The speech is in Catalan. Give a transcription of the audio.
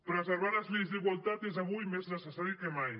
preservar les lleis d’igualtat és avui més necessari que mai